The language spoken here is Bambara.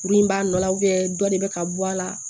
Kurun b'a nɔ la dɔ de bɛ ka bɔ a la